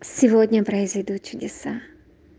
сегодня произойдут чудеса